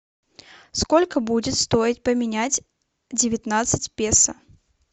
сколько будет стоить поменять девятнадцать песо